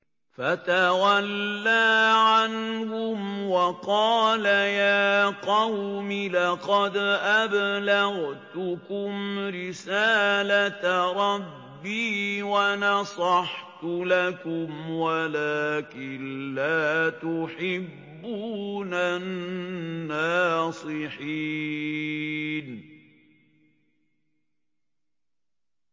فَتَوَلَّىٰ عَنْهُمْ وَقَالَ يَا قَوْمِ لَقَدْ أَبْلَغْتُكُمْ رِسَالَةَ رَبِّي وَنَصَحْتُ لَكُمْ وَلَٰكِن لَّا تُحِبُّونَ النَّاصِحِينَ